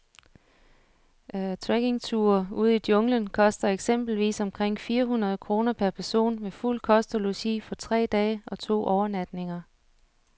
Trekkingture ud i junglen koster eksempelvis omkring fire hundrede kroner per person med fuld kost og logi for tre dage og to overnatninger.